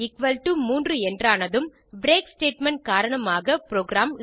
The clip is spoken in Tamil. இ எக்குவல் டோ 3 என்றானதும் பிரேக் ஸ்டேட்மெண்ட் காரணமாக புரோகிராம்